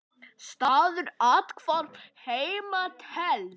Staður athvarf heima telst.